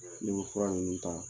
N'i bɛ fura ninnu ta